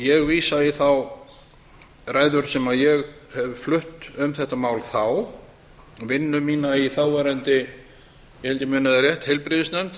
ég vísa í þær ræður sem ég hef flutt um þetta mál þá vinnu mína í þáverandi ég held ég muni það rétt heilbrigðisnefnd það var